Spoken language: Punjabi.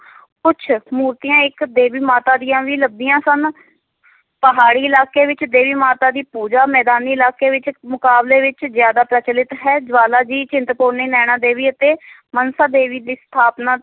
ਕੁਛ ਮੂਰਤੀਆਂ ਇੱਕ ਦੇਵੀ ਮਾਤਾ ਦੀਆਂ ਵੀ ਲੱਭੀਆਂ ਸਨ ਪਹਾੜੀ ਇਲਾਕੇ ਵਿੱਚ ਦੇਵੀ ਮਾਤਾ ਦੀ ਪੂਜਾ, ਮੈਦਾਨੀ ਇਲਾਕੇ ਵਿੱਚ ਮੁਕਾਬਲੇ ਵਿੱਚ ਜ਼ਿਆਦਾ ਪ੍ਰਚਲਿਤ ਹੈ, ਜਵਾਲਾ ਜੀ, ਚਿੰਤਪੂਰਨੀ, ਨੈਨਾ ਦੇਵੀ ਅਤੇ ਮਨਸਾ ਦੇਵੀ ਦੀ ਸਥਾਪਨਾ